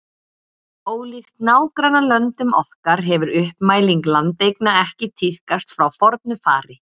Ólíkt nágrannalöndum okkar hefur uppmæling landeigna ekki tíðkast frá fornu fari.